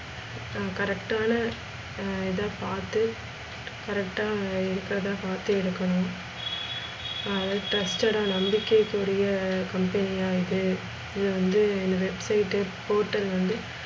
correct ன்னா இத பாத்து correct இருக்குறதா பாத்து எடுக்கணும். அதா truseted ஆ நம்பிக்கைக்குரிய company யா இது இத வந்து website portal வந்து,